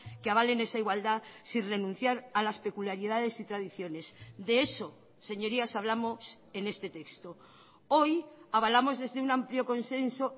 que avalen esa igualdad sin renunciar a las peculiaridades y tradiciones de eso señorías hablamos en este texto hoy avalamos desde un amplio consenso